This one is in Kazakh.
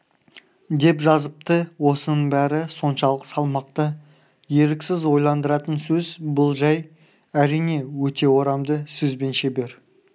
деп жазыпты осының бәрі соншалық салмақты еріксіз ойландыратын сөз бұл жай әрине өте орамды сөзбен шебер